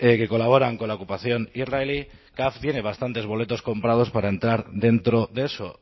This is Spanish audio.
que colaboran con la ocupación israelí caf tiene bastantes boletos comprados para entrar dentro de eso